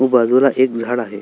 व बाजूला एक झाड आहे.